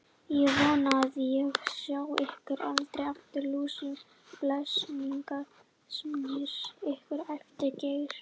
Ég vona að ég sjái ykkur aldrei aftur, lúsablesarnir ykkar, æpti Geir.